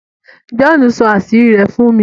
John sọ àṣírí rẹ̀ fún mi.